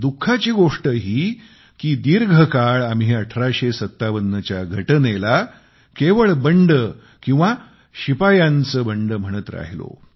दुःखाची गोष्ट ही कि दीर्घकाळ आम्ही 1857च्या घटनेला केवळ बंड किंवा शिपायांचे बंड म्हणत राहिलो